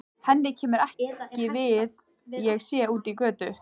Henni kemur ekki við hvað ég sé úti á götu.